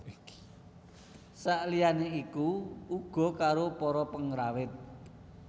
Saliyane iku uga karo para pengrawit